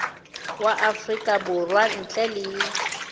wa afrika borwa ntle le